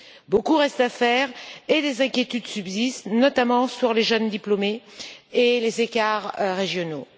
Beaucoup reste à faire et les inquiétudes subsistent, notamment sur les jeunes diplômés et les écarts régionaux.